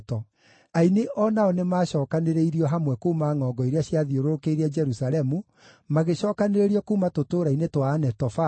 Aini o nao nĩmacookanĩrĩirio hamwe kuuma ngʼongo iria ciathiũrũrũkĩirie Jerusalemu, magĩcookanĩrĩrio kuuma tũtũũra-inĩ twa Anetofathi,